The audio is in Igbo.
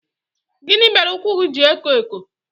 Gịnị mere ụkwụ gị ji na-eko eko?